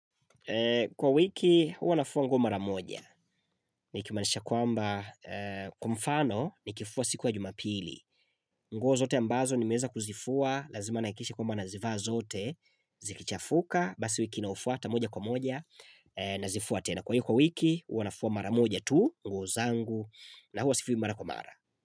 Kwa wiki huanafua nguo mara moja Nikimaanisha kwamba Kwamfano nikifua sikuya jumapili nguo zote ambazo nimeweza kuzifua Lazima nihakikishe kwamba nazivaa zote Zikichafuka Basi wiki inayofuaata moja kwa moja Nazifua tena Kwahiyo kwa wiki huanafua mara moja tu nguo zangu na huwa sifui mara kwa mara.